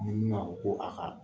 Munumunu na o ko a ka.